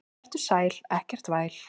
Vertu sæl, ekkert væl.